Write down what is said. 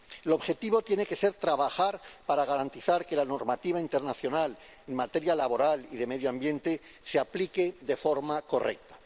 El objetivo tiene que ser trabajar para garantizar que la normativa internacional en materia laboral y de medio ambiente se aplique de forma correcta.